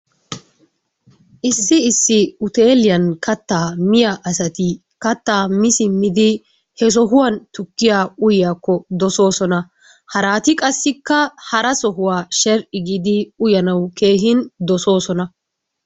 Issi issi uteeliyan katta miya asati kattaa mi simmidi he sohuwan tukkiyaa uyyiyakko dosoosona. Harati qassikka hara sohuwaa sheri'i giidi uyanawu keehi dosoosona.